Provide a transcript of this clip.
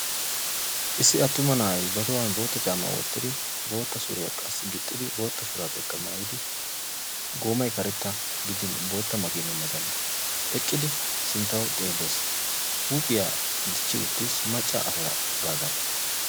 Issi attuma na'ay ba tohuwan bootta caama wottidi bootta suriyaa qassi gixiri bootta shurabiyyakka mayyid goomay karetta gidin boottaa makine matan eqqidi sinttaw xeelees; huuphiyaa dichchi uttiis macca asaagadan.